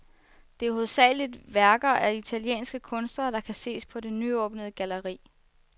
Det er hovedsageligt værker af italienske kunstnere, der kan ses på det nyåbnede galleri.